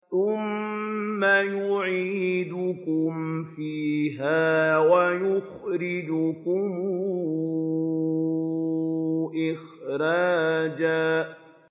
ثُمَّ يُعِيدُكُمْ فِيهَا وَيُخْرِجُكُمْ إِخْرَاجًا